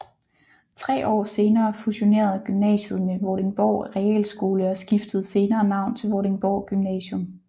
Tre år senere fusionerede gymnasiet med Vordingborg Realskole og skiftede senere navn til Vordingborg Gymnasium